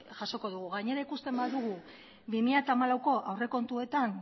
jasoko dugu gainera ikusten badugu bi mila hamalaueko aurrekontuetan